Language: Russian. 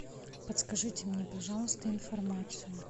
подскажите мне пожалуйста информацию